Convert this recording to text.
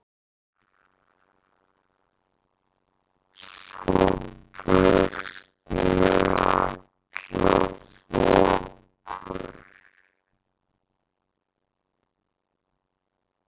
Svo burt með alla þoku.